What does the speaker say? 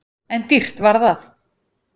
En dýrt var það!